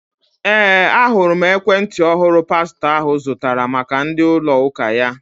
Ee, ahụrụ m ekwentị ọhụrụ pastọ ahụ zụtara maka ndi ųlo ųka ya.